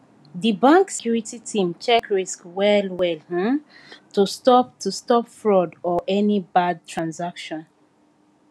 the bank security team check risk well well um to stop to stop fraud or any bad transaction